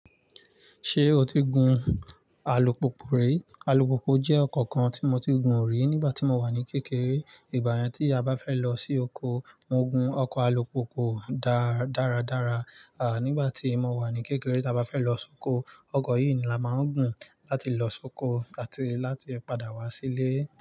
Ṣé o ti gun alùpùpù rí? Aùpùpù jẹ́ ọkọ̀ kan tí mo ti gùn rí nígbà tí mo wà ní kékeré. Ìgbà yẹn tí a bá fẹ́ lọ sí oko, mo gun ọkọ̀ alùpùpù dáradára. Nígbà tí mo wà ní kékeré, tí a bá fẹ́ lọ sóko, oko yìí ni a máa ń gùn láti lọ sóko àti láti padà wá sílé.